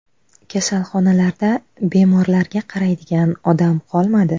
Kasalxonalarda bemorlarga qaraydigan odam qolmadi.